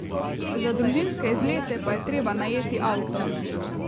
Za družinske izlete pa je treba najeti avto.